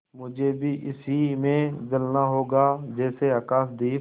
मुझे भी इसी में जलना होगा जैसे आकाशदीप